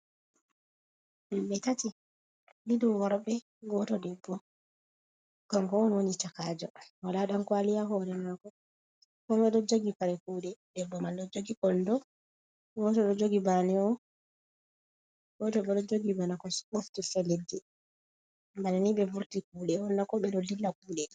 Himɓɓe tati ɗiɗo dum worbe goto debbo kanko on woni chakajo wala dankwali ha hore mako kome ɗo jogi kare kuɗe debbo man ɗo jogi kondo goto bo ɗo jogi bana o Goto bo ɗo jogi bana ko ɓe ɓoftirta leɗɗi, bana ni ɓe vurti kuɗe on na? ko ɓe ɗo dlilla kuɗe.